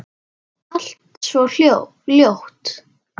Allt svo ljótt.